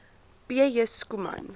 p j schoeman